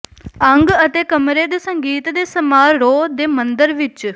ਅੰਗ ਅਤੇ ਕਮਰੇ ਸੰਗੀਤ ਦੇ ਸਮਾਰੋਹ ਦੇ ਮੰਦਰ ਵਿਚ